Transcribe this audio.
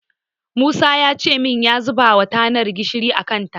Musa yace min ya zubawa tanar gishiri a kanta.